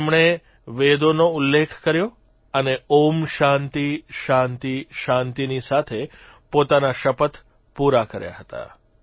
તેમણે વેદોનો ઉલ્લેખ કર્યો અને ઓમ શાંતિઃ શાંતિઃ શાંતિઃ ની સાથે પોતાના શપથ પૂરા કર્યા હતા